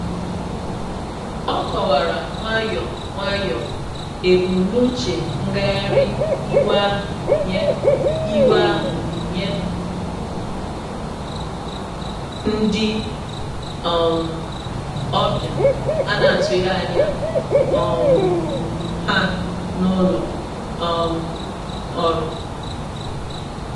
O kọwara nwayọ nwayọ ebumnuche ngagharị iwe ahụ nye iwe ahụ nye ndị um ọbịa ana-atụghị anya um ha na ụlọ um ọrụ.